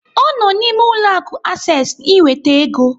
Ọ nọ n'ime ụlọ akụ Access iweta ego.